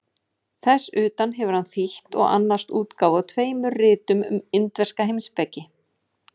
Þess utan hefur hann þýtt og annast útgáfu á tveimur ritum um indverska heimspeki.